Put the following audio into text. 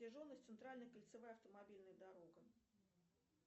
протяженность центральная кольцевая автомобильная дорога